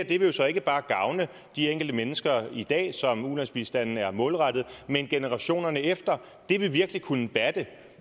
det vil jo så ikke bare gavne de enkelte mennesker i dag som ulandsbistanden er målrettet men generationerne efter det vil virkelig kunne batte